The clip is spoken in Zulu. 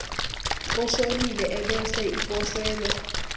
oshonile ebese iposelwa